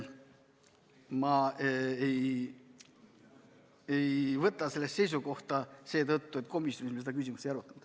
Ma ei võta selles asjas seisukohta seetõttu, et komisjonis me seda küsimust ei arutanud.